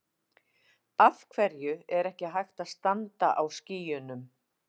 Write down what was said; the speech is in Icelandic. Af hverju er ekki hægt að standa á skýjunum?